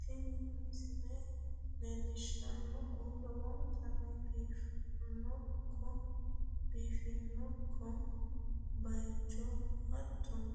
Tini misile leellishshannohu lowontanni biifinokko bayicho hattono,